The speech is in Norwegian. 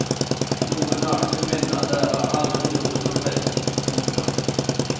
Noen nakne kvinner lærer aldri noe som helst. punktum